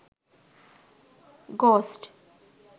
ghost